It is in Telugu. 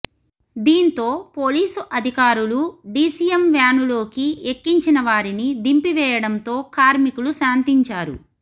దీంతో పోలీసు అధికారులు డీసీఎం వ్యానులోకి ఎక్కించిన వారిని దింపివేయడంతో కార్మికులు శాంతించారు